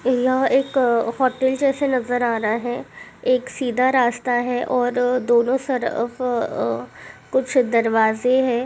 यह एक होटल जैसे नज़र आ रहा है। एक सीधा रास्ता है और दोनों तरफ अ अ कुछ दरवाजे है।